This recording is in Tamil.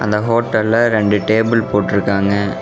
இந்த ஹோட்டல்ல ரெண்டு டேபிள் போட்டுருக்காங்க.